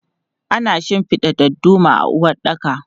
Ana shinfida dadduma a uwaɗɗaka.